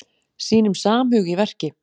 Sýnum samhug í verki